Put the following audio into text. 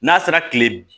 N'a sera kile